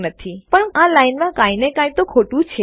પણ કોઈક રીતે આ લાઈનમાં કાઈ ને કાઈ તો ખોટું છે